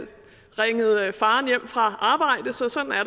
ringet faren hjem fra arbejde så sådan er